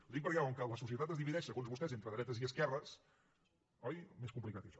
ho dic perquè com que la societat es divideix segons vostès entre dretes i esquerres oi més complicat que això